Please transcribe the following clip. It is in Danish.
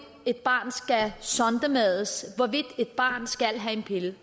et barn skal sondemades hvorvidt et barn skal have en pille